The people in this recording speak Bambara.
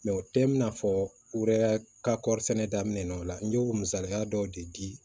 o tɛ in'a fɔ u yɛrɛ ka kɔri sɛnɛ daminɛ o la n y'o misaliya dɔw de di